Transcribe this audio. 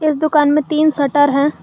इस दुकान में तीन शटर है।